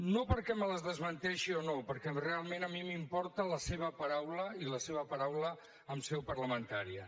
no perquè me les desmenteixi o no perquè realment a mi m’importa la seva paraula i la seva paraula en seu parlamentària